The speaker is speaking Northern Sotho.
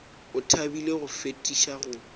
o thabile go fetiša go